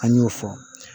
An y'o fɔ